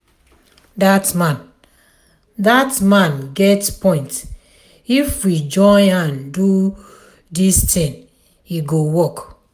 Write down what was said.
dat man dat man get point if we join hand do dis thing e go work.